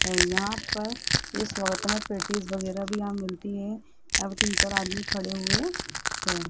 है यहां पर इस वक्त में पैटीज वगैरा भी यहां मिलती है यहां पे तीन चार आदमी खड़े हुए है।